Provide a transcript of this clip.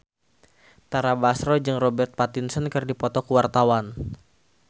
Tara Basro jeung Robert Pattinson keur dipoto ku wartawan